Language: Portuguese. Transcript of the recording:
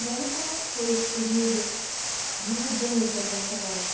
E aí, como é que foi esse período de mudanças na creche?